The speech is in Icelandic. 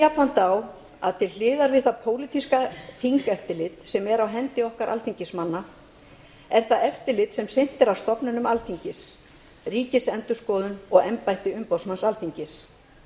jafnframt á að til hliðar við það pólitíska þingeftirlit sem er á hendi okkar alþingismanna er það eftirlit sem sinnt er af stofnunum alþingis ríkisendurskoðun og embætti umboðsmanns alþingis